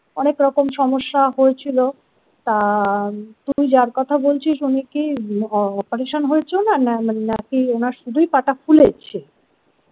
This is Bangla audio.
অনেক রকম সমস্যা হয়েছিল তা তুই যার কথা বলছিস উনি কি operation হয়েছে না নাকি ওনার শুধুই পা টা ফুলেছে।